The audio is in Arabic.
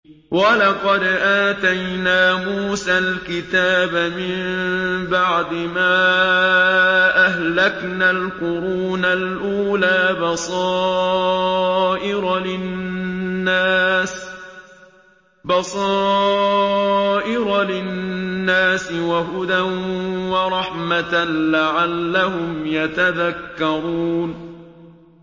وَلَقَدْ آتَيْنَا مُوسَى الْكِتَابَ مِن بَعْدِ مَا أَهْلَكْنَا الْقُرُونَ الْأُولَىٰ بَصَائِرَ لِلنَّاسِ وَهُدًى وَرَحْمَةً لَّعَلَّهُمْ يَتَذَكَّرُونَ